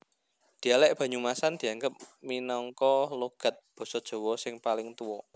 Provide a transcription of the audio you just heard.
Dhialèk Banyumasan dianggep minangka logat Basa Jawa sing paling tuwa